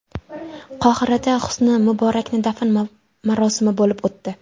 Qohirada Husni Muborakning dafn marosimi bo‘lib o‘tdi.